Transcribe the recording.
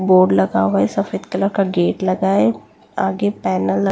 board लगा हुआ है सफेद कलर का गेट लगा है आगे पैनल --